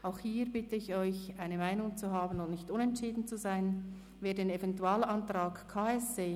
Auch hier bitte ich Sie, eine Meinung 1